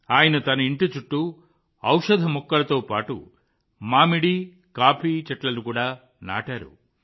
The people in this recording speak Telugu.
ఆయన తన ఇంటి చుట్టూ ఔషధ మొక్కలతో పాటు మామిడి కాఫీ చెట్లను కూడా నాటారు